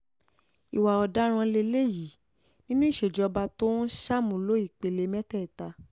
ìwà ọ̀daràn lélẹ́yìí lélẹ́yìí nínú ìṣèjọba tó ń ṣàmúlò ìpele mẹ́tẹ̀ẹ̀ta